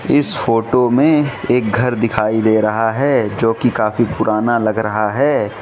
इस फोटो में एक घर दिखाई दे रहा है जो कि काफी पुराना लग रहा है।